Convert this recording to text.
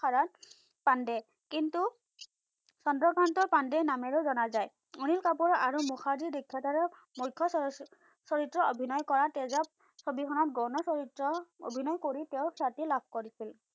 হৰত পাণ্ডে। কিন্তু, চন্দ্ৰকান্ত পাণ্ডে নামেৰে জনা যায়। অনিল কাপুৰ আৰু মুখাৰ্জিৰ মুখ্য চলচ্চিত্ৰ চৰিত্ৰ অভিনয় কৰা তেজৱ ছবিখনত গৌণ চৰিত্ৰ অভিনয় কৰি তেওঁ খ্যাতি লাভ কৰিছিল।